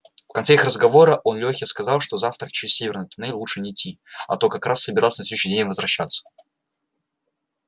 в конце их разговора он лёхе сказал что завтра через северный туннель лучше не идти а тот как раз собирался на следующий день возвращаться